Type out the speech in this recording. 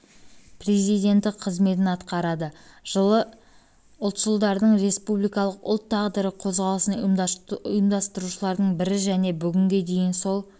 президенті қызметін атқарады жылы ұлтшылдардың республикалық ұлт тағдыры қозғалысын ұйымдастырушылардың бірі және бүгінге дейін сол